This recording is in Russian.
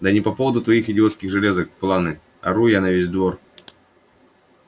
да не по поводу твоих идиотских железок планы ору я на весь двор